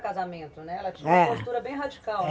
Casamento, né. Ela tinha uma postura bem radical, né? Eh.